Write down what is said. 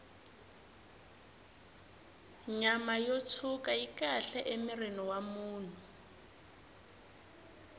nyama yo tshwuka yi kahle emirhini wa munhu